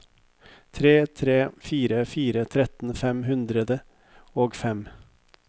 tre tre fire fire tretten fem hundre og fem